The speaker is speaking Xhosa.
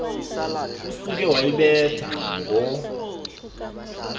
usuke wayibetha ngo